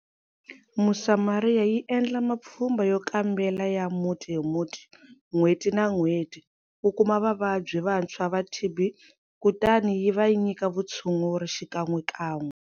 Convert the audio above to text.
Mosamoria yi endla mapfhumba yo kambela ya muti hi muti n'hweti na n'hweti ku kuma vavabyi vantshwa va TB, kutani yi va nyika vutshunguri xikan'wekan'we.